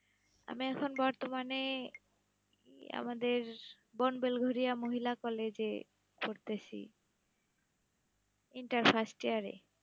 আমি এখন বর্তমানে আমাদের বন বেলঘরিয়া মহিলা college -এ, পড়তেসি, intern First year -এ।